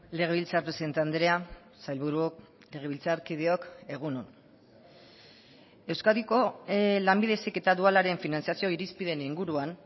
legebiltzar presidente andrea sailburuok legebiltzarkideok egun on euskadiko lanbide heziketa dualaren finantzazio irizpideen inguruan